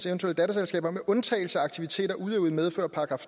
eventuelle datterselskaber med undtagelse af aktiviteter udøvet i medfør af §